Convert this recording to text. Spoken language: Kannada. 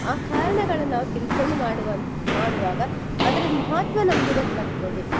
ಆ ಕಾರಣಳನ್ನ ನಾವು ತಿಳ್ಕೊಂಡು ಮಾಡುವಂ~ ಮಾಡುವಾಗ ಅದರ ಮಹತ್ವ ನಮ್ಗೆ ಗೊತ್ತಾಗ್ತದೆ.